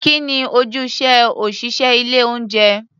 Kí ni ojúṣe òṣị̀ṣẹ́ ilé-oúnjẹ?